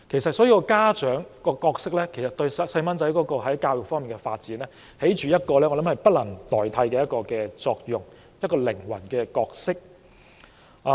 所以，家長的角色對孩子教育的發展，起着不能代替的作用——一個靈魂的角色。